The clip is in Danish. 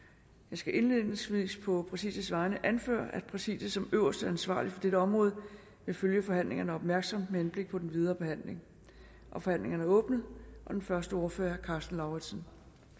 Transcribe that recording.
skal indledningsvis på præsidiets vegne anføre at præsidiet som øverst ansvarlig for dette område vil følge forhandlingerne opmærksomt med henblik på den videre behandling forhandlingen er åbnet og den første ordfører er herre karsten lauritzen